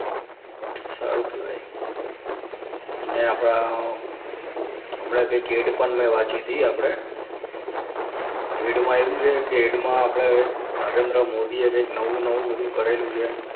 સારુ કહેવાય અને આપણા હમણાં કઈક એડ પણ મેં વાંચી હતી આપણે એડમાં એવું છે કે એડમાં આપણે નરેન્દ્ર મોદીએ કંઈક નવું નવું બધું કરેલું છે.